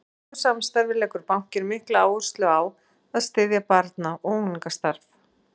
Í slíku samstarfi leggur bankinn mikla áherslu á að styðja barna- og unglingastarf.